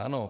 Ano.